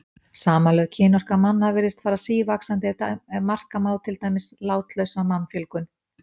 Samanlögð kynorka manna virðist fara sívaxandi ef marka má til dæmis látlausa mannfjölgun.